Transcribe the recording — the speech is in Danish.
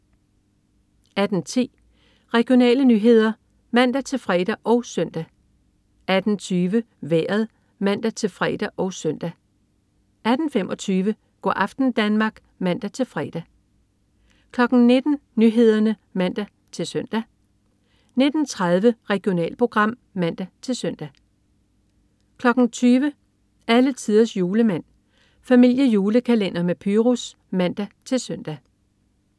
18.10 Regionale nyheder (man-fre og søn) 18.20 Vejret (man-fre og søn) 18.25 Go' aften Danmark (man-fre) 19.00 Nyhederne (man-søn) 19.30 Regionalprogram (man-søn) 20.00 Alletiders Julemand. Familiejulekalender med Pyrus (man-søn)